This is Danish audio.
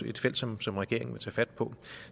et felt som som regeringen tager fat på